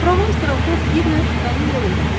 Provans qrafı bir növ mənim yolumla gedir.